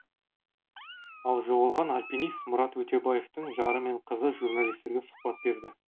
ал жоғалған альпинист мұрат өтепбаевтың жары мен қызы журналистерге сұхбат берді